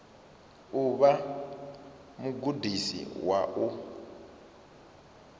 u vha mugudisi wa u